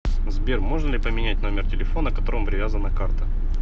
сбер можно ли поменять номер телефона к которому привязана карта